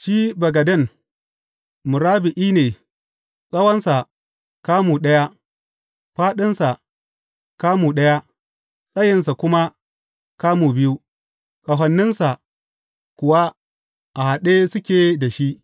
Shi bagaden, murabba’i ne, tsawonsa kamu ɗaya, fāɗinsa kamu ɗaya, tsayinsa kuma kamu biyu, ƙahoninsa kuwa a haɗe suke da shi.